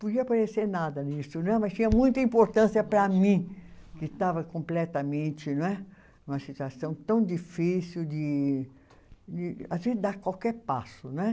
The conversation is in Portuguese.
Podia aparecer nada nisso né, mas tinha muita importância para mim, que estava completamente não é, numa situação tão difícil de de, assim dar qualquer passo não é.